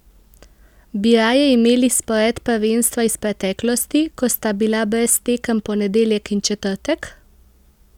Bi raje imeli spored prvenstva iz preteklosti, ko sta bila brez tekem ponedeljek in četrtek?